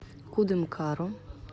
кудымкару